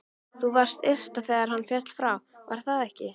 Þú varst ytra þegar hann féll frá, var það ekki?